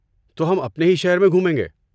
تو ہم اپنے ہی شہر میں گھومیں گے؟